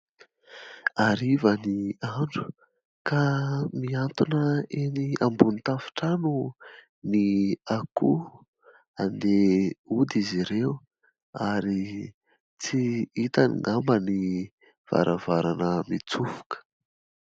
Hariva ny andro ka mihantona eny ambony tafontrano ny akoho. Handeha hody izy ireo ary tsy hitany angamba ny varavarana mitsofoka.